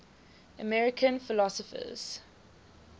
american philosophers